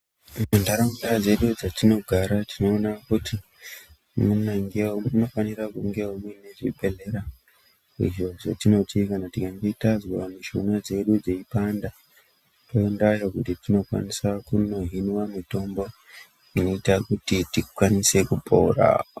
Muntaraunda dzedu dzetinogara tinona kuti munofanira kungewo mune zvibhehlera izvo zvatinoti kana tazwa mishina dzedu dzeipanda toendayo kuti tinokwanisa kunohinwa mitombo inoita kuti tikwanise kupora.